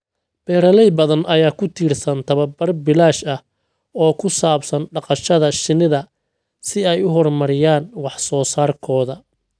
Beeraley badan ayaa ku tiirsan tababar bilaash ah oo ku saabsan dhaqashada shinida si ay u horumariyaan wax soo saarkooda.